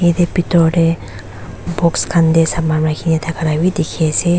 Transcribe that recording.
Eteh bethor dae box khan dae saman rakhina thakala bhi dekhey ase.